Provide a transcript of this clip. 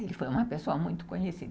Ele foi uma pessoa muito conhecida.